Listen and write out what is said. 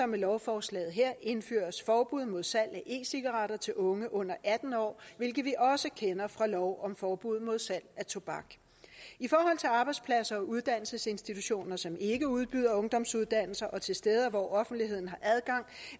med lovforslaget her indføres forbud mod salg af e cigaretter til unge under atten år hvilket vi også kender fra lov om forbud mod salg af tobak i forhold til arbejdspladser og uddannelsesinstitutioner som ikke udbyder ungdomsuddannelser og til steder hvor offentligheden